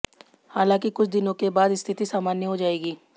हालांकि कुछ दिनों के बाद स्थिति सामान्य हो जाएगी